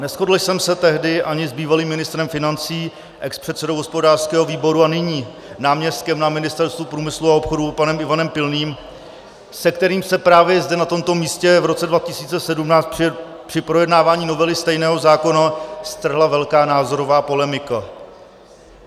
Neshodl jsem se tehdy ani s bývalým ministrem financí, expředsedou hospodářského výboru a nyní náměstkem na Ministerstvu průmyslu a obchodu panem Ivanem Pilným, se kterým se právě zde na tomto místě v roce 2017 při projednávání novely stejného zákona strhla velká názorová polemika.